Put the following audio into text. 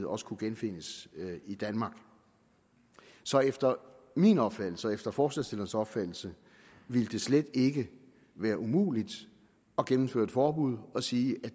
også kunne genfindes i danmark så efter min opfattelse og efter forslagsstillernes opfattelse ville det slet ikke være umuligt at gennemføre et forbud og sige at